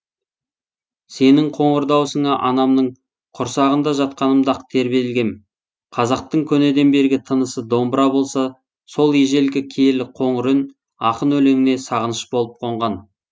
сенің қоңыр дауысыңа анамның құрсағында жатқанымда ақ тербелгем қазақтың көнеден бергі тынысы домбыра болса сол ежелгі киелі қоңыр үн ақын өлеңіне сағыныш болып қонған